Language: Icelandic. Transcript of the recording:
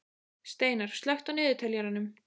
Steinar, slökktu á niðurteljaranum.